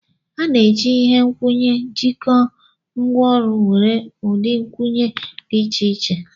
A na-eji ihe nkwụnye jikọọ ngwaọrụ nwere ụdị nkwụnye dị iche iche.